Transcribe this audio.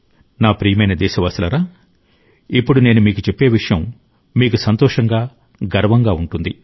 నా ప్రియమైన దేశవాసులారా ఇప్పుడు నేను మీకు చెప్పే విషయం మీకు సంతోషంగా గర్వంగా ఉంటుంది